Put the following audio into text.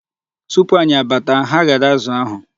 Tupu anyị abata, ha ghere azụ ahụ.